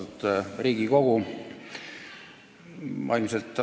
Austatud Riigikogu!